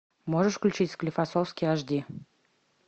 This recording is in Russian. можешь включить склифосовский аш ди